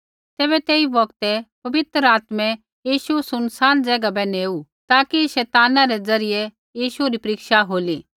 तैबै तेई बौगतै पवित्रआत्मै यीशु सुनसान ज़ैगा बै नेऊ ताकि शैतानै रै द्वारा यीशु री परीक्षा होली